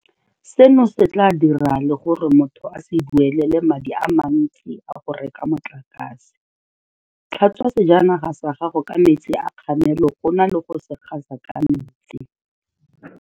Seno se tla dira le gore motho a se duelele madi a mantsi a go reka motlakase. Tlhatswa sejanaga sa gago ka metsi a kgamelo go na le go se gasa ka metsi.